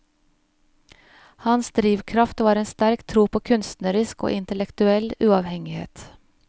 Hans drivkraft var en sterk tro på kunstnerisk og intellektuell uavhengighet.